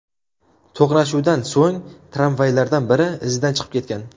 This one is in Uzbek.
To‘qnashuvdan so‘ng tramvaylardan biri izidan chiqib ketgan.